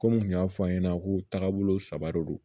Komi n kun y'a fɔ a' ɲɛna ko tagabolo saba de don